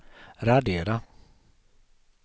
radera